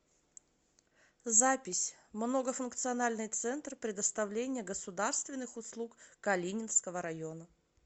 запись многофункциональный центр предоставления государственных услуг калининского района